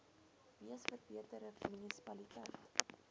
mees verbeterde munisipaliteit